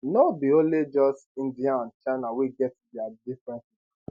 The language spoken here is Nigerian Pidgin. no be only just india and china wey get dia differences